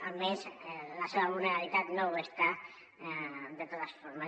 almenys la seva vulnerabilitat no ho està de totes formes